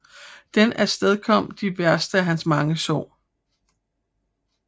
Det afstedkom de værste af hans mange sår